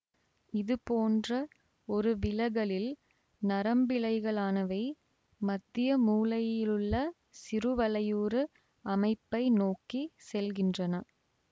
இதுபோன்ற ஒரு விலகலில் நரம்பிழைகளானவை மத்தியமூளையிலுள்ள சிறுவலையுரு அமைப்பை நோக்கி செல்கின்றன